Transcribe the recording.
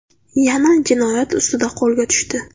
yana jinoyat ustida qo‘lga tushdi.